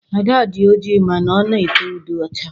Ada dị oji mana ọ na ete ude ọcha.